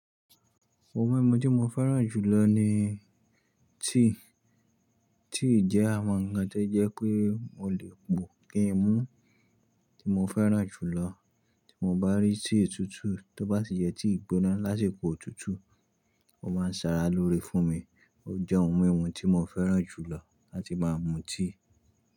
Ohun mímu tí mo fẹ́ràn jùlọ ni tea. Tea jẹ́ àwọn ǹkan tó jẹ́ pé mo lè pòó kí n mú. Tí mo fẹ́ràn jùlọ, tí mo bá rí tea tútù tó bá sì yẹ tea gbóná lásìkò òtútù, ó máa ń sára lóore fún mi. Ó jẹ́ ohun mímu tí mo fẹ́ràn jùlọ láti máa mú tea.